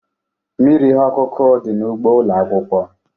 Mmiri ihe ọkụkụ dị n'ugbo ụlọ akwụkwọ.